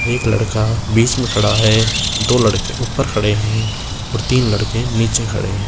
एक लड़का बीच में खड़ा है दो लड़के ऊपर खड़े हैं और तीन लड़के नीचे खड़े हैं।